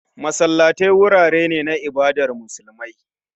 Masallatai wurare ne na ibadar musulmai